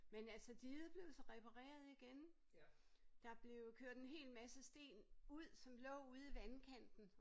Men altså diget blev så repareret igen. Der blev kørt en helt masse sten ud som lå ude i vandkanten